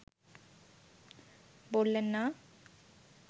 বললেন না